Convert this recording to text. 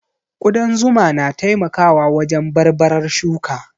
Ƙudan zuma na taimakawa wajen barbarar shuka